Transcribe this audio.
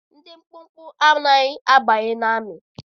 Ndị mkpụmkpụ anaghị abanye amị